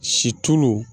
Situlu